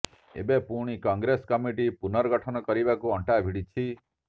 ଏବେ ପୁଣି କଂଗ୍ରେସ କମିଟି ପୁନର୍ଗଠନ କରିବାକୁ ଅଣ୍ଟା ଭିଡ଼ିଛି